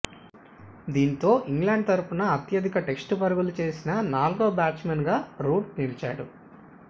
దీంతో ఇంగ్లాండ్ తరఫున అత్యధిక టెస్టు పరుగులు చేసిన నాలుగో బ్యాట్స్మెన్గానూ రూట్ నిలిచాడు